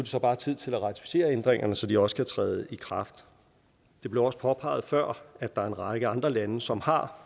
så bare tid til at ratificere ændringerne så de også kan træde i kraft det blev også påpeget før at der er en række andre lande som har